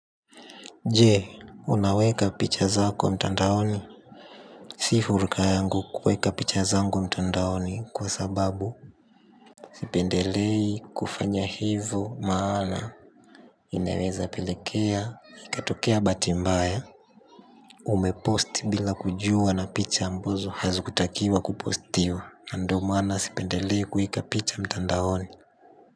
Je, unaweka picha zako mtandaoni? Si furuka yangu kuweka picha zangu mtandaoni kwa sababu sipendelei kufanya hivo maana inaweza pelekea, ikatokea bahati mbaya umepost bila kujua na picha ambazo hazikutakiwa kupostiwa na ndio maana sipendelei kueka picha mtandaoni.